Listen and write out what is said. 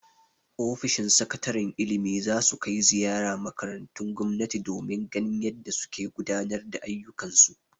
Ofishin sakataren ilimi za su kai ziyara makarantun gomnati domin ganin yadda suke gudanar da ayyukan su.